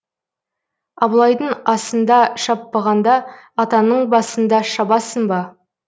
абылайдың асында шаппағанда атаңның басында шабасың ба